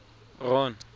ron